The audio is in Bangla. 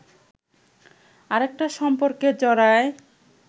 আরেকটা সম্পর্কে জড়ায়